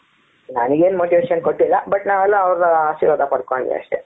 ನನಗೆ ಏನು motivation ಕೊಟ್ಟಿಲ್ಲ but ನಾವೆಲ್ಲ ಅವರ ಆಶೀರ್ವಾದ ಪಡ್ಕೊಂಡ್ವಿ ಅಷ್ಟೇ.